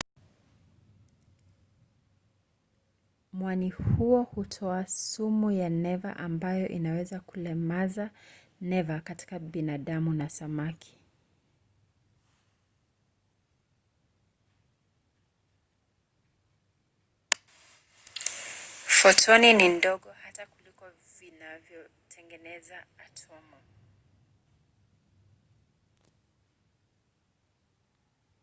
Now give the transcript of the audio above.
mwani huo hutoa sumu ya neva ambayo inaweza kulemaza neva katika binadamu na samaki